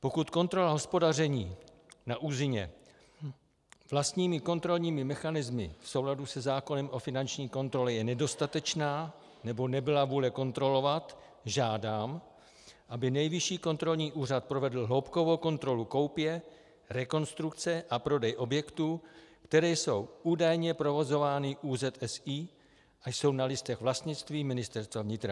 Pokud kontrola hospodaření na ÚZSI vlastními kontrolními mechanismy v souladu se zákonem o finanční kontrole je nedostatečná nebo nebyla vůle kontrolovat, žádám, aby Nejvyšší kontrolní úřad provedl hloubkovou kontrolu koupě, rekonstrukce a prodeje objektů, které jsou údajně provozovány ÚZSI a jsou na listech vlastnictví Ministerstva vnitra.